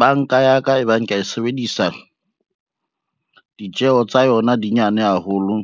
Banka ya ka e bang kea e sebedisa, ditjeho tsa yona di nyane haholo